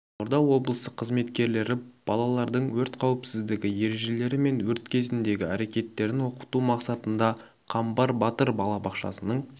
қызылорда облысы қызметкерлері балалардың өрт қауіпсіздігі ережелері мен өрт кезіндегі әрекеттерін оқыту мақсатында қамбар батыр балабақшасының